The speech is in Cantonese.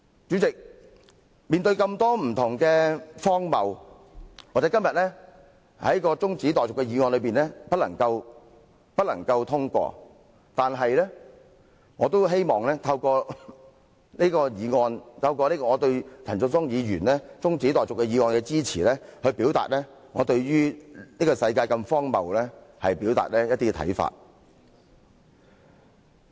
主席，面對這麼多不同的荒謬，今天由陳淑莊議員提出的中止待續議案或許無法獲得通過，但我希望透過這項議案，以及我對這項議案的支持，表達我對這個世界如此荒謬的一些看法。